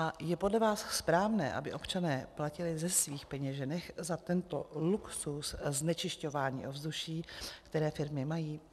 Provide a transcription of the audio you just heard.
A je podle vás správné, aby občané platili ze svých peněženek za tento luxus znečisťování ovzduší, který firmy mají?